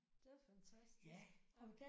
Det er fantastisk ja